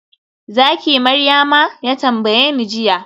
zaki Maryama?, ya tambayeni jiya